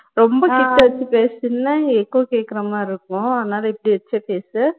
ரொம்ப கிட்ட வச்சு பேசுனின்னா echo கேக்குற மாதிரி இருக்கும் அதனால இப்படி வச்சே பேசு